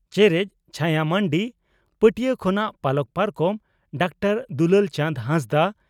ᱪᱮᱨᱮᱡ (ᱪᱷᱟᱭᱟ ᱢᱟᱱᱰᱤ) ᱯᱟᱹᱴᱭᱟᱹ ᱠᱷᱚᱱᱟᱜ ᱯᱟᱞᱚᱠ ᱯᱟᱨᱠᱚᱢ (ᱰᱟᱠᱛᱟᱨ ᱫᱩᱞᱟᱹᱞ ᱪᱟᱸᱫᱽ ᱦᱮᱸᱥᱫᱟᱜ)